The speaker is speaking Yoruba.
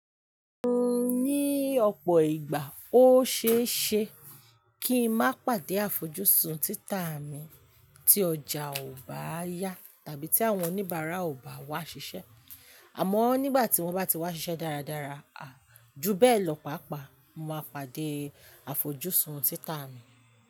Ní ọ̀pọ̀ ìgbà, ó ṣeé ṣe, kí ń má pàdé àfojúsùn títà mi, tí ọjà ò bá yaá tàbí tí àwọn oníbàárà ò bá wá ṣiṣẹ́. Àmọ́ nígbà tí wọ́n bá ti wá ṣiṣẹ́ dáradára, júbẹ́ẹ̀lọ̀, pàápàá máa pàdé àfojúsùn títà mi.